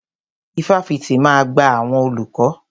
Ifáfitì máa gba àwọn olùkọ́.